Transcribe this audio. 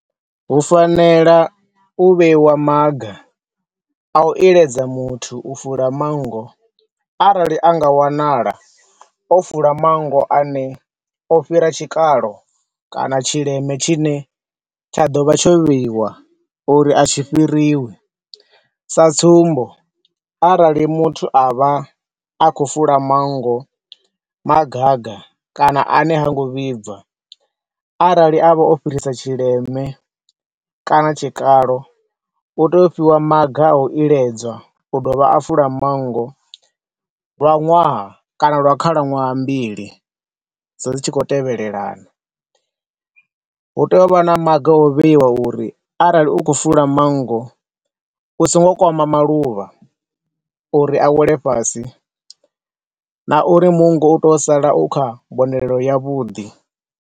Hu fanela u vheiwa maga a u iledza muthu u fula mango, arali anga wanala o fula mango ane o fhira tshikalo kana tshileme tshi ne tsha ḓo vha tsho vheiwa uri a tshi fhiriwi, sa tsumbo, arali muthu a vha akhou fula mango magaga kana ane hango vhibva, arali a vha o fhirisa tshileme kana tshikalo, u tea u fhiwa maga a u iledzwa u dovha a fula mango lwa ṅwaha kana la khalaṅwaha mbili dzi tshi khou tevhelana. Hu tea u vha na maga a u vheiwa uri arali u khou fula mango u songo kwama maluvha uri awele fhasi, nauri mungo u to sala u kha mbonelo ya vhuḓi